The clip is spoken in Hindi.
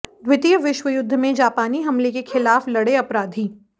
द्वितीय विश्वयुद्ध में जापानी हमले के खिलाफ लड़े अपराधी